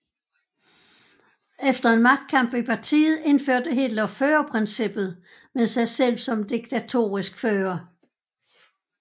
Efter en magtkamp i partiet indførte Hitler førerprincippet med sig selv som diktatorisk fører